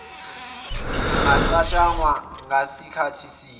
ungacatshangwa ngasikhathi sini